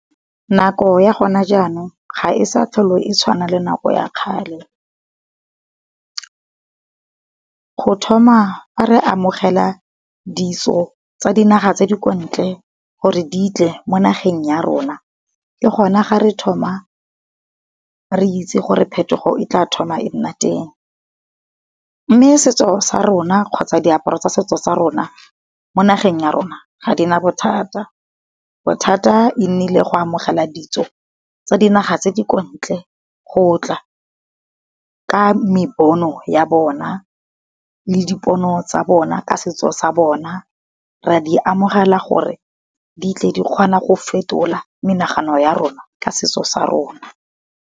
Nako ya gona jaanong, ga e sa tlhole e tshwana le nako ya kgale. Go thoma fa re amogela ditso tsa dinaga tse di kwa ntle, gore di tle mo nageng ya rona, ke gona ga re thoma re itse gore phetogo e tla thoma e nna teng. Mme setso sa rona kgotsa diaparo tsa setso sa rona, mo nageng ya rona ga di na bothata. Bothata e nnile go amogela ditso tsa di naga tse di ko ntle go tla ka me bono ya bona le di pono tsa bona ka setso sa bona, ra di amogela gore di tle di kgona go fetola menagano ya rona ka setso sa rona.